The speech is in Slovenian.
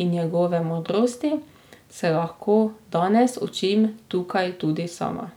in njegove modrosti, se lahko danes učim tukaj tudi sama.